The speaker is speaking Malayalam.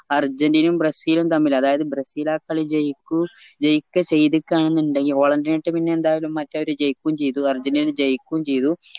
അർജന്റിനെയിം ബ്രസീലും തമ്മിലാ അതായത് ബ്രസീല് ആ കളി ജയിക്കൂ ജയിക്ക ചെയ്തിക്ക എന്നിണ്ടെകില് മറ്റവര് ജയിക്കും ചെയ്തു അർജന്റീന തന്നെ ജയൂക്കും ചെയ്തു